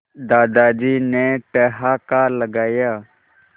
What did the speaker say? दादाजी ने ठहाका लगाया